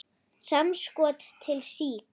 Samskot til SÍK.